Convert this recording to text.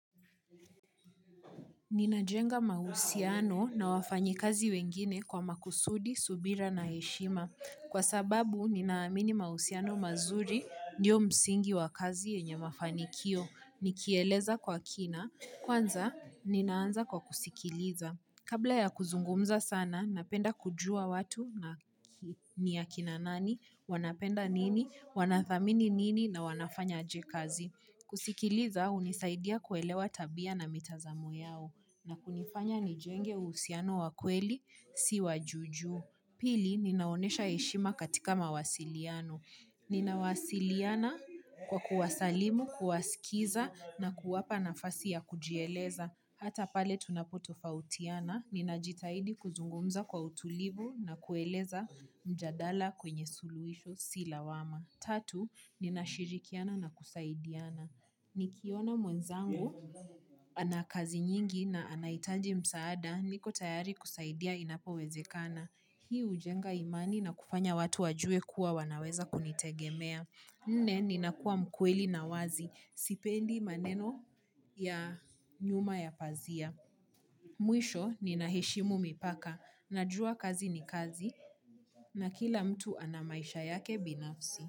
Ninajenga mahusiano na wafanyikazi wengine kwa makusudi subira na heshima. Kwa sababu ninaamini mahusiano mazuri ndiyo msingi wa kazi yenye mafanikio. Nikieleza kwa kina, kwanza ninaanza kwa kusikiliza. Kabla ya kuzungumza sana, napenda kujua watu na ni akina nani, wanapenda nini, wanathamini nini na wanafanya aje kazi. Kusikiliza hunisaidia kuelewa tabia na mitazamo yao na kunifanya nijenge uhusiano wa kweli si wa juu juu. Pili ninaonesha heshima katika mawasiliano. Ninawasiliana kwa kuwasalimu, kuwasikiza na kuwapa nafasi ya kujieleza. Hata pale tunapotofautiana, ninajitahidi kuzungumza kwa utulivu na kueleza mjadala kwenye suluhisho si lawama. Tatu, ninashirikiana na kusaidiana. Nikiona mwenzangu, ana kazi nyingi na anahitaji msaada, niko tayari kusaidia inapowezekana. Hii hujenga imani na kufanya watu wajue kuwa wanaweza kunitegemea. Nne ninakua mkweli na wazi, sipendi maneno ya nyuma ya pazia. Mwisho ninaheshimu mipaka najua kazi ni kazi na kila mtu ana mipaka yake.